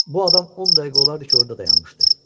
Bu adam 10 dəqiqə olardı ki, orada dayanmışdı.